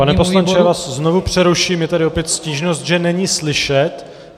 Pane poslanče, já vás znovu přeruším, je tady opět stížnost, že není slyšet.